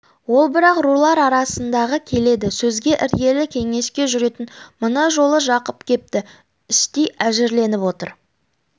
ол бірақ рулар арасындағы келелі сөзге іргелі кеңеске жүретін мына жолы жақып кепті іштей әзірленіп отыр